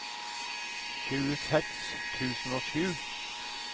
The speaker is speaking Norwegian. tjueseks tusen og sju